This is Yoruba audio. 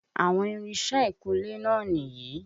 Àwọn irinṣẹ́ ìkúnlé náà nìyí.